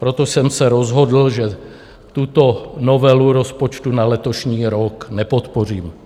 Proto jsem se rozhodl, že tuto novelu rozpočtu na letošní rok nepodpořím.